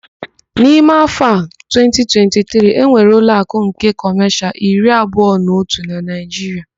N'ime áfọ a 2023, enwere ụloakụ nke Kọmashịal iri abụọ na otụ na Naịjiria.